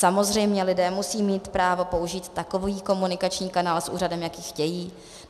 Samozřejmě lidé musí mít právo použít takový komunikační kanál s úřadem, jaký chtějí.